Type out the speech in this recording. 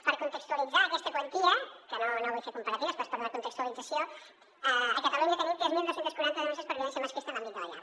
per contextualitzar aquesta quantia que no vull fer comparatives però és per donar contextualització a catalunya tenim tres mil dos cents i quaranta denúncies per violència masclista en l’àmbit de la llar